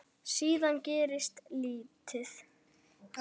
Síðan gerist lítið.